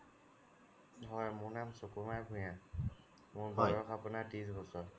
হয় মোৰ নাম সুকুমাৰ ভূঞা মোৰ বয়স আপোনাৰ ত্ৰিশ বছৰ